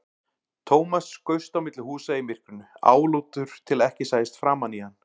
Thomas skaust á milli húsa í myrkrinu, álútur til að ekki sæist framan í hann.